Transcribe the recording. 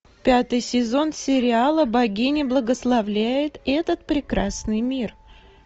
пятый сезон сериала богиня благословляет этот прекрасный мир